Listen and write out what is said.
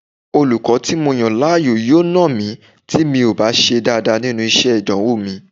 Olùkọ́ tí mo yàn láàyò yóò nà mí tí mi ò bá ṣe dáadáa nínú iṣẹ́ ìdánwò mi